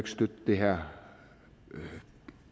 støtte det her